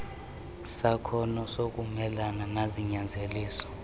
sakhono sokumelana nezinyanzeliso